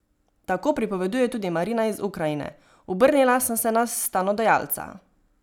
Tako pripoveduje tudi Marina iz Ukrajine: "Obrnila sem se na stanodajalca.